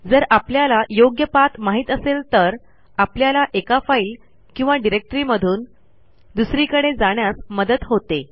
जर आपल्याला योग्य पाठ माहित असेल तर आपल्याला एका फाईल किंवा डिरेक्टरीमधून दुसरीकडे जाण्यास मदत होते